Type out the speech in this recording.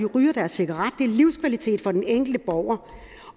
ryger deres cigaret er livskvalitet for den enkelte borger